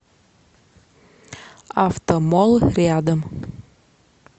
автомолл рядом